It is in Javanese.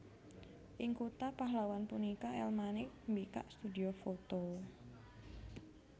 Ing kutha Pahlawan punika El Manik mbikak studhio foto